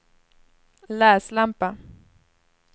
läslampa